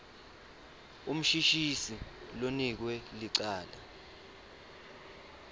umshushisi lonikwe licala